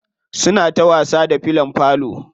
Suna ta wasa da fillon falo.